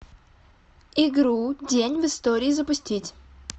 игру день в истории запустить